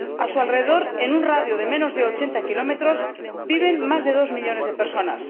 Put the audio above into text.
A su alrededor, en un radio de menos de ochenta kilómetros, viven más de dos millones de personas.